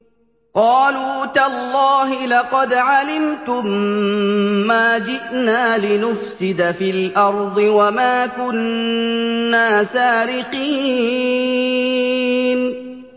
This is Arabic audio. قَالُوا تَاللَّهِ لَقَدْ عَلِمْتُم مَّا جِئْنَا لِنُفْسِدَ فِي الْأَرْضِ وَمَا كُنَّا سَارِقِينَ